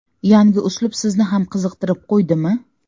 Yangi uslub sizni ham qiziqtirib qo‘ydimi?